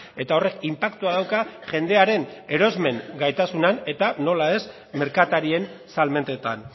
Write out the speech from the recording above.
eta horrek inpaktua dauka jendearen erosmen gaitasunean eta nola ez merkatarien salmentetan